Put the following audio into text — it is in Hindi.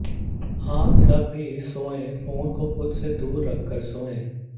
आप जब भी सोएं फोन को खुद से दूर रख कर सोएं